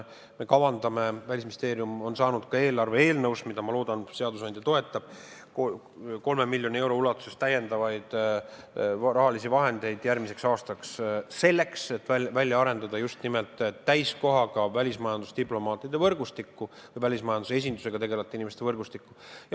Välisministeerium on saanud ka eelarve eelnõus – mida, ma loodan, et seadusandja toetab – 3 miljonit eurot täiendavaid rahalisi vahendeid järgmiseks aastaks, et välja arendada just nimelt täiskohaga välismajandusdiplomaatide võrgustikku ja välismajandusesindustega tegelevate inimeste võrgustikku.